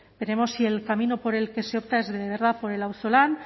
veremos si el camino por el que se opta es de verdad por el auzolan